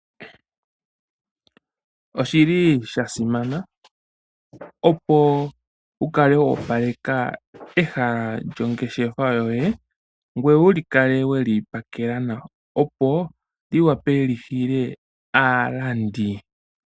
Oshi li sha simana opo wu kale wo opaleka pehala lyongeshefa yoye ngweye wu kale we li pakela nawa, opo li wape li hile aalandi.